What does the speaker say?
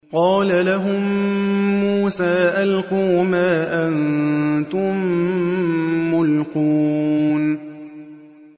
قَالَ لَهُم مُّوسَىٰ أَلْقُوا مَا أَنتُم مُّلْقُونَ